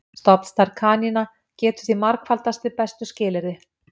Stofnstærð kanína getur því margfaldast við bestu skilyrði.